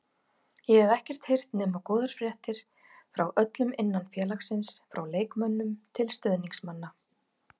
Ég hef ekkert heyrt nema góðar fréttir frá öllum innan félagsins, frá leikmönnum til stuðningsmanna.